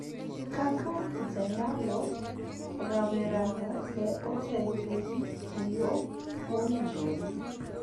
Kaka jayalo, rawerano ne otelo ne ji e yo mowinjore